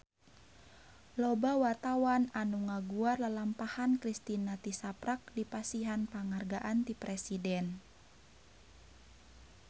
Loba wartawan anu ngaguar lalampahan Kristina tisaprak dipasihan panghargaan ti Presiden